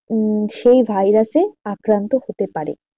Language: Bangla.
উম সেই virus এ আক্রান্ত হতে পারে।